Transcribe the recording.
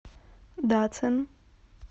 дацин